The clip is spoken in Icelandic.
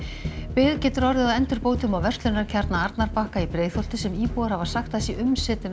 bið getur orðið á endurbótum á verslunarkjarna að Arnarbakka í Breiðholti sem íbúar hafa sagt að sé